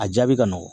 A jaabi ka nɔgɔn